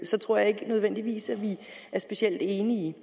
så tror jeg ikke nødvendigvis vi er specielt enige